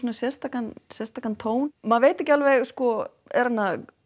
sérstakan sérstakan tón maður veit ekki alveg sko er hann